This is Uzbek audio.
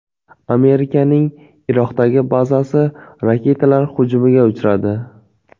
Amerikaning Iroqdagi bazasi raketalar hujumiga uchradi.